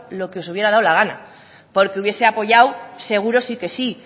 lo que os hubiera dado la gana porque hubiese apoyado seguro sí que sí